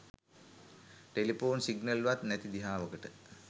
telephone signal වත් නැති දිහාවකට